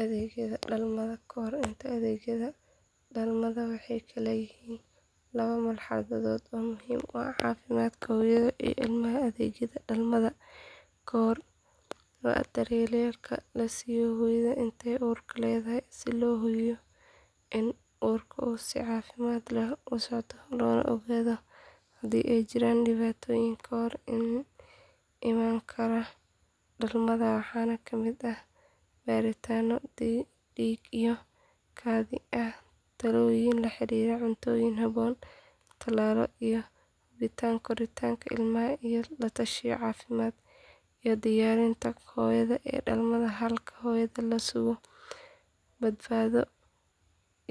Adeegyada dhalmada ka hor iyo adeegyada dhalmada waxay kala yihiin laba marxaladood oo muhiim u ah caafimaadka hooyada iyo ilmaha adeegyada dhalmada ka hor waa daryeelka la siiyo hooyada inta ay uurka leedahay si loo hubiyo in uurku si caafimaad leh ku socdo loona ogaado haddii ay jiraan dhibaatooyin ka hor iman kara dhalmada waxaana ka mid ah baaritaanno dhiig iyo kaadi ah talooyin la xiriira cuntooyin habboon talaalo iyo hubinta koritaanka ilmaha la tashiyo caafimaad iyo diyaarinta hooyada ee dhalmada halka adeegyada dhalmada ay bilaabmaan marka hooyadu bilowdo xanuunka dhalmada waxaana lagu dadaalaa in hooyada loo sugo badbaado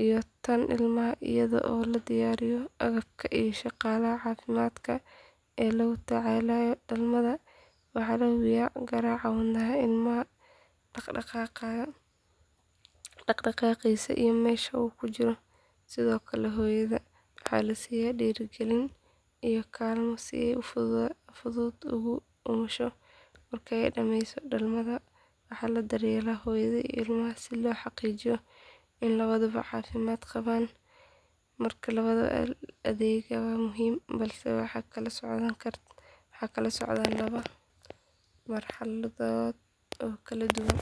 iyo tan ilmaha iyadoo loo diyaariyo agabka iyo shaqaalaha caafimaadka ee la tacaalaya dhalmada waxaa la hubiyaa garaaca wadnaha ilmaha dhaq dhaqaaqiisa iyo meesha uu ku jiro sidoo kale hooyada waxaa la siiya dhiirrigelin iyo kaalmo si ay si fudud ugu umusho marka la dhameeyo dhalmada waxaa la daryeelaa hooyada iyo ilmaha si loo xaqiijiyo in labaduba caafimaad qabaan marka labada adeegba waa muhiim balse waxay kala socdaan laba marxaladood oo kala duwan.